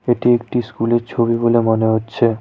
এটি একটি স্কুল -এর ছবি বলে মনে হচ্ছে।